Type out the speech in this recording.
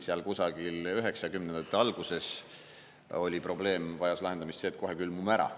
Seal kusagil 90-ndate alguses oli probleem, vajas lahendamist see, et kohe külmume ära.